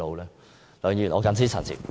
梁議員，我謹此陳辭。